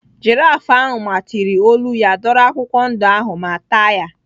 Jiraf ahụ matịrị olu ya dọrọ akwụkwọ ndụ ahụ ma taa ya.